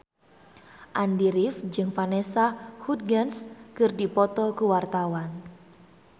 Andy rif jeung Vanessa Hudgens keur dipoto ku wartawan